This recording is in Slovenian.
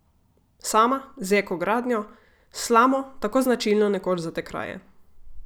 Sama, z eko gradnjo, s slamo, tako značilno nekoč za te kraje.